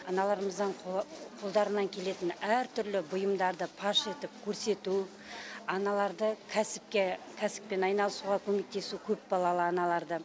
аналарымыздың қолдарынан келетін әртүрлі бұйымдарды паш етіп көрсету аналарды кәсіпке кәсіппен айналысуға көмектесу көпбалалы аналарды